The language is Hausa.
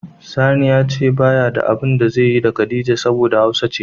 Sani ya ce ba ya da abun da zaiyi da Khadijah saboda hausawa ce.